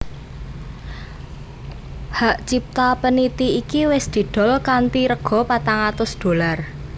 Hak cipta peniti iki wis didol kanthi rega patang atus dolar